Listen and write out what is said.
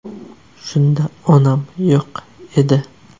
Shunda onam yo‘q edi.